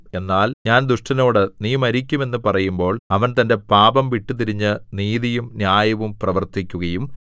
എന്നാൽ ഞാൻ ദുഷ്ടനോട് നീ മരിക്കും എന്നു പറയുമ്പോൾ അവൻ തന്റെ പാപം വിട്ടുതിരിഞ്ഞ് നീതിയും ന്യായവും പ്രവർത്തിക്കുകയും